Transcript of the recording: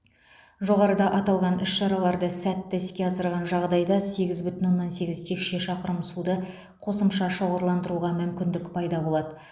жоғарыда аталған іс шараларды сәтті іске асырған жағдайда сегіз бүтін оннан сегіз текше шақырым суды қосымша шоғырландыруға мүмкіндік пайда болады